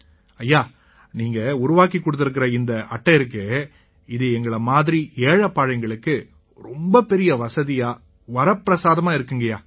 ஐயா நீங்க உருவாக்கிக் கொடுத்திருக்கற இந்த அட்டை இருக்கே இது எங்களை மாதிரி ஏழைபாழைங்களுக்கு ரொம்ப பெரிய வசதியா வரப்பிரசாதமா இருக்குங்கய்யா